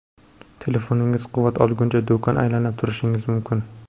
Telefoningiz quvvat olguncha, do‘kon aylanib turishingiz mumkin.